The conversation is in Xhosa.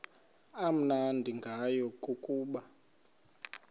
amnandi ngayo kukuba